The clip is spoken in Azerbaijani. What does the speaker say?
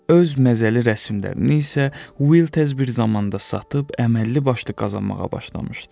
Öz məzəli rəsmlərini isə Will tez bir zamanda satıb, əməlli başlı qazanmağa başlamışdı.